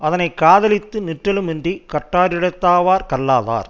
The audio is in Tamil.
அதனை காதலித்து நிற்றலுமன்றிக் கற்றாரிடத்தாவர் கல்லாதார்